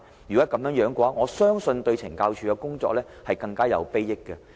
如果是這樣，我相信對懲教署將更有裨益。